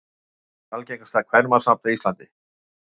Hvert er algengasta kvenmannsnafn á Íslandi?